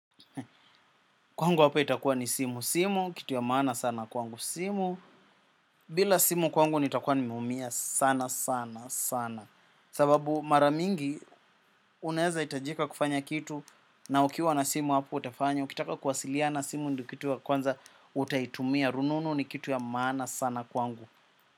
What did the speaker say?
Kwangu hapa itakua ni simu simu, kitu ya maana sana kwangu simu. Bila simu kwangu nitakua nimeumia sana sana sana. Sababu mara mingi unaezahitajika kufanya kitu. Na ukiwa na simu hapo utafanya kitaka kuwasiliana simu ndio kitu ya kwanza utaitumia. Rununu ni kitu ya maana sana kwangu.